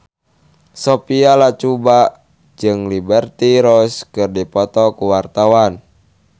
Sophia Latjuba jeung Liberty Ross keur dipoto ku wartawan